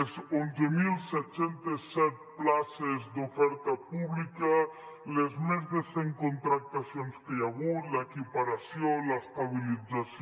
les onze mil set cents i set places d’oferta púbica les més de cent contractacions que hi ha hagut l’equiparació l’estabilització